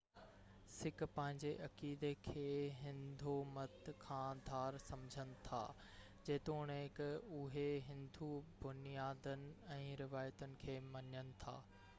sick پنهنجي عقيدي کي هندو مت کان ڌار سمجهن ٿا جيتوڻڪ اهي هندو بنيادن ۽ روايتن کي مڃن ٿا